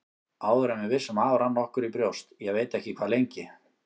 Áður en við vissum af rann okkur í brjóst, ég veit ekki hvað lengi.